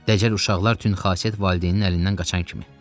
Dəcəl uşaqlar tünd xasiyyət valideynin əlindən qaçan kimi.